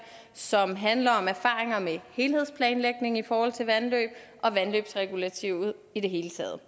som handler om erfaringer med helhedsplanlægning i forhold til vandløb og vandløbsregulativet i det hele taget